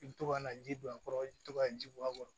I bɛ to ka na ji don a kɔrɔ i bɛ to ka ji bɔ a kɔrɔ